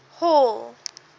hall